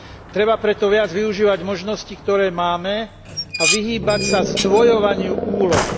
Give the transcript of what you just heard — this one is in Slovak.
Treba preto viac využívať možnosti, ktoré máme, a vyhýbať sa zdvojovaniu úloh.